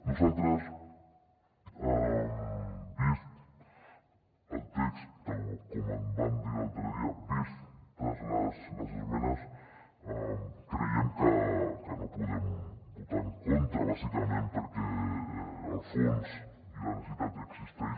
nosaltres vist el text tal com vam dir l’altre dia vistes les esmenes creiem que no hi podem votar en contra bàsicament perquè el fons i la necessitat existeix